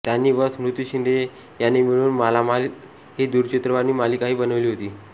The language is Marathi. त्यांनी व स्मृती शिंदे यांनी मिळून मालामाल ही दूरचित्रवाणी मालिकाही बनवली होती